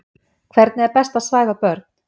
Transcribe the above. Hvernig er best að svæfa börn?